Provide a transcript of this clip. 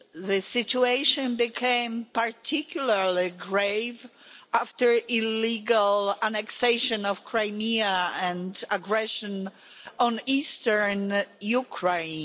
The situation became particularly grave after the illegal annexation of Crimea and aggression in eastern Ukraine.